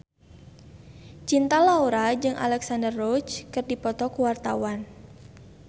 Cinta Laura jeung Alexandra Roach keur dipoto ku wartawan